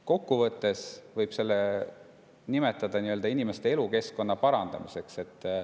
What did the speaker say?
Kokkuvõttes võib seda nimetada inimeste elukeskkonna parandamiseks.